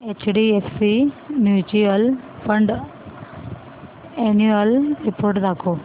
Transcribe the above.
HDFC mutual fund annual report दाखव